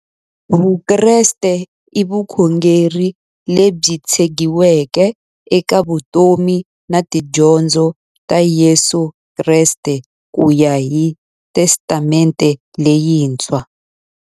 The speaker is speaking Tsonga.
Vukreste i vukhongeri lebyi tshegiweke eka vutomi na tidyondzo ta Yesu Kreste kuya hi Testamente leyintshwa.